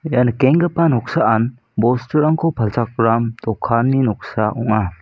ia nikenggipa noksaan bosturangko palchakram dokanni noksa ong·a.